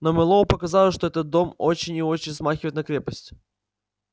но мэллоу показалось что этот дом очень и очень смахивает на крепость